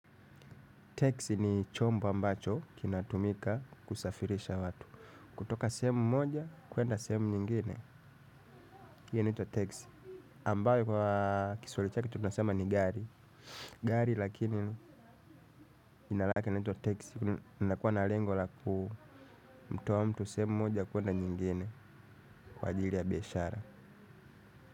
Taxi ni chombo ambacho kinatumika kusafirisha watu. Kutoka sehemu moja kuenda sehemu nyingine. Hiyo inaitwa taxi. Ambayo kwa kiswahili chake tunasema ni gari. Gari lakini jina lake inaitwa taxi. Inakuwa na lengo la ku mtoa mtu sehemu moja kuenda nyingine. Kwa ajili ya biashara.